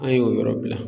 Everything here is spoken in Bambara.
An ye o yɔrɔ bila